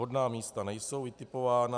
Vhodná místa nejsou vytipována.